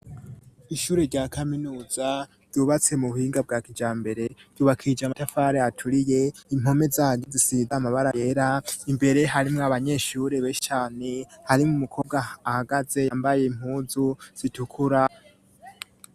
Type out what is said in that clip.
Ishure rya kaminuza ryubatse mu buhinga bwa kijambere ,ryubakishije amatafari aturiye ,impome zaryo zisize amabara yera ,imbere harimwo abanyeshuri benshi cane, harimwo umukobwa ahagaze yambaye impunzu zitukura.